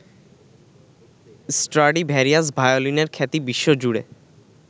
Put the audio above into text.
Stradivarius ভায়োলিনের খ্যাতি বিশ্বজুড়ে।